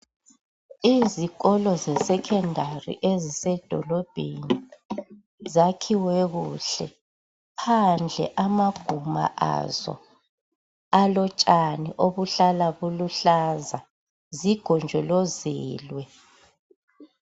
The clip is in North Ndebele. izikolo ze secondary ezise dolobheni zakhiwe kuhle phandle kwama guma awo alotshani ahlala aluhlaza zigonjolozwele